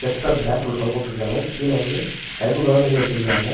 தொங்கவுட்ருக்காங்க கீழ வந்து sky blue கலர்ல ஏதோ வச்சுருக்காங்க.